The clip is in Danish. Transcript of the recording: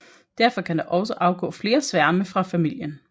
Derfor kan der også afgå flere sværme fra familien